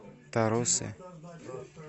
тарусе